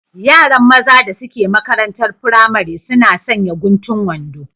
Yaran maza da suke maƙarantar firamare suna sanƴa guntun wanɗo